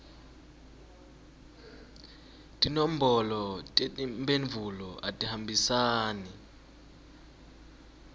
tinombolo tetimphendvulo atihambisane